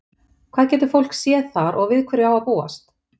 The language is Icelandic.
Hvað getur fólk séð þar og við hverju á að búast?